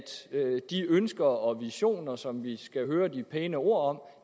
de ønsker og visioner som vi skal høre de pæne ord om